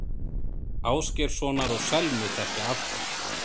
Ásgeirssonar og Selmu þekkja allir.